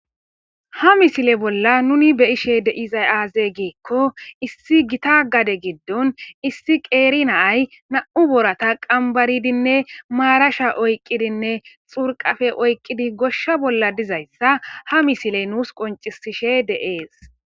Ha misile bolla nuni beyishe deizay aaze giikko issi gita gade giddon issi qeeri naay nam'u boorata qambaridinne maarasha oyqqidinne xurqafe oyqqidi goshsha bolla dizayssa ha misile nuus qoncisishe de'ees